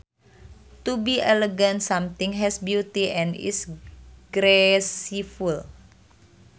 To be elegant something has beauty and is graceful